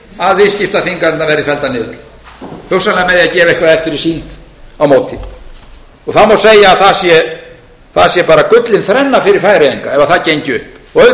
að viðskiptaþvinganirnar væru felldar niður hugsanlega með því að gefa eitthvað eftir í síld á móti þá má segja að það sé bara gullin þrenna fyrir færeyinga ef það gengi upp auðvitað getum við